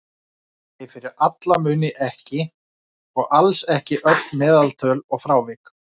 Nei, fyrir alla muni ekki, og alls ekki öll meðaltöl og frávik.